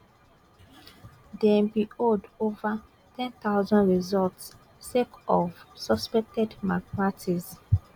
dem bin hold ova ten thousand results sake of suspected malpractices